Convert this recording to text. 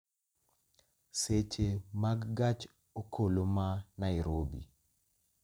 seche mag gach okoloma nairobi